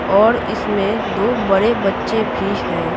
और इसमें दो बड़े बच्चे भी हैं।